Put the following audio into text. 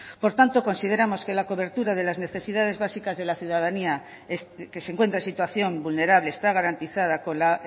por tanto consideramos que la cobertura de las necesidades básicas de la ciudadanía que se encuentra en situación vulnerable está garantizada con la